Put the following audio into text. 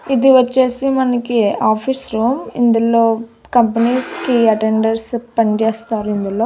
ఇది వచ్చేసి మనకి ఆఫీస్ రూమ్ ఇందులో కంపెనీస్ కి అటెండర్స్ పనిచేస్తారు ఇందులో.